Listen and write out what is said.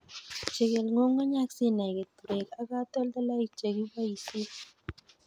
Chikil ng'ung'unyek sinai keturek ak katoltolik chekibosien.